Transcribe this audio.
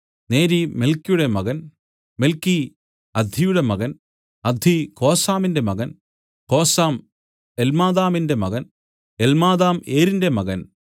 നേരി മെൽക്കിയുടെ മകൻ മെൽക്കി അദ്ദിയുടെ മകൻ അദ്ദി കോസാമിന്റെ മകൻ കോസാം എല്മാദാമിന്റെ മകൻ എല്മാദാം ഏരിന്റെ മകൻ